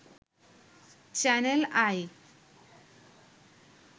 channel I